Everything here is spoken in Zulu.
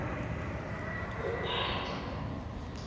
okanjo